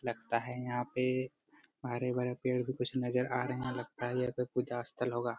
लगता है यहां पे पारे वाला पेड़ भी कुछ नजर आ रहे है लगता है ये कोई पूजा स्थल होगा।